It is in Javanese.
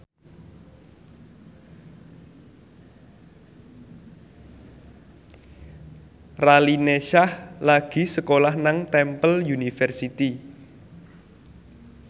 Raline Shah lagi sekolah nang Temple University